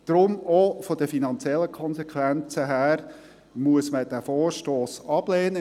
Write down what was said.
Deshalb: Auch wegen der finanziellen Konsequenzen muss man diesen Vorstoss ablehnen.